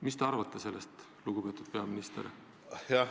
Mis te arvate sellest, lugupeetud peaminister?